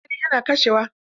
Eh, maganin ya na kashe wa.